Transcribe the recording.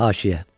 Haşiyə.